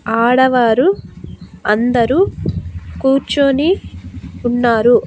ఆడవారు అందరూ కూర్చొని ఉన్నారు.